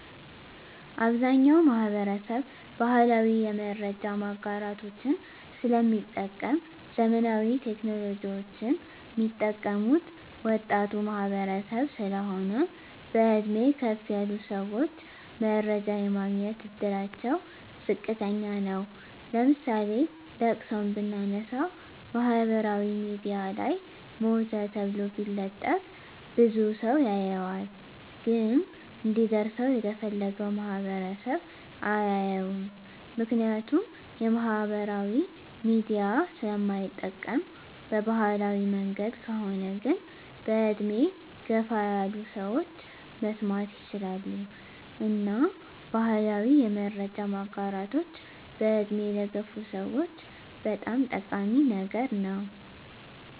አብዛኛዉ ማህበረሰብ ባህላዊ የመረጃ ማጋራቶችን ስለሚጠቀም ዘመናዊ ቴክኖሎጂወችን ሚጠቀሙት ወጣቱ ማህበረሰብ ስለሆን በእድሜ ከፍ ያሉ ሰወች መረጃ የማግኘት እድላቸዉ ዝቅተኛ ነዉ ለምሳሌ ለቅሶን ብናነሳ ማህበራዊ ሚድያ ላይ ሞተ ተብሎ ቢለጠፍ ብዙ ሰዉ ያየዋል ግን እንዲደርሰዉ የተፈለገዉ ማህበረሰብ አያየዉም ምክንያቱም ማህበራዊ ሚዲያ ስለማይጠቀም በባህላዊ መንገድ ከሆነ ግን በእድሜ ገፋ ያሉ ሰወች መስማት ይችላሉ እና ባህላዊ የመረጃ ማጋራቶች በእድሜ ለገፉ ሰወች በጣም ጠቃሚ ነገር ነዉ